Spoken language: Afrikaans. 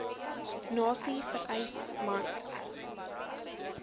nasie vereis mans